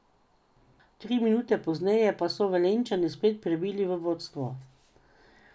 Tri minute pozneje pa so Velenjčani spet prebili v vodstvo.